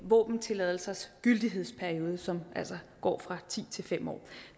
våbentilladelsers gyldighedsperiode som altså går fra ti til fem år